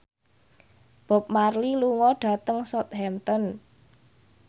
Bob Marley lunga dhateng Southampton